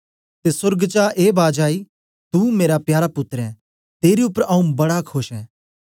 ते सोर्ग चा ए बाज आई तुं मेरा प्यारा पुत्तर ऐं तेरे उपर आऊँ बड़ा खोश ऐं